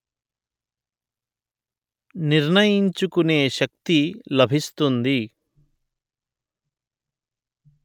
నిర్ణయించుకునే శక్తి లభిస్తుంది